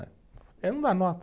Ele não dá nota.